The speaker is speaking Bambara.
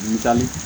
Butali